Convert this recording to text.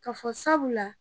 Ka fɔ sabula la